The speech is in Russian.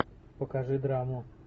покажи драму